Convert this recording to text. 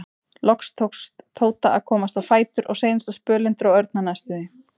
Loks tókst Tóta að komast á fætur og seinasta spölinn dró Örn hann næstum því.